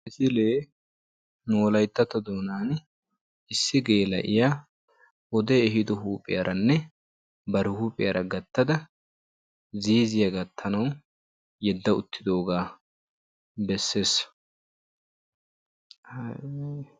Nu wolayttato doonan issi geela'iya wode eehido huuphiyara bar huuphiyara gattadda ba ziizziya gatanawu yedda uttaasu.